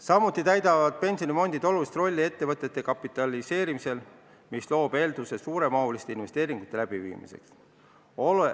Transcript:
Samuti mängivad pensionifondid olulist rolli ettevõtete kapitaliseerimisel, mis loob eelduse suure mahuga investeeringute tegemiseks.